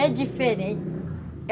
É diferente.